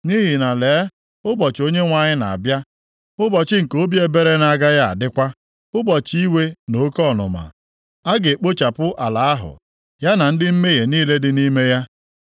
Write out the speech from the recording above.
Nʼihi na lee, ụbọchị Onyenwe anyị na-abịa, ụbọchị nke obi ebere na-agaghị adịkwa, ụbọchị iwe na oke ọnụma. A ga-ekpochapụ ala ahụ, ya na ndị mmehie niile dị nʼime ya.